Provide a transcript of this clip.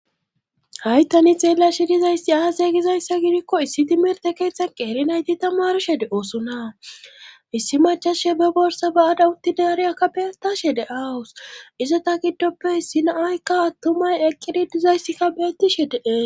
Haytani xeela shidizaysi aasay gizayssa gidikko issi timirte keeththan qeelinayti tamarshe de oosuna issi machashe be borsa ba'ada utti deariaka beyatashe de awus izota giddoppe issinaaykka attumay eqqidi dizayssikka beatishe dee..